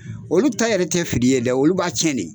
Olu ta yɛrɛ tɛ fili ye dɛ olu b'a cɛn de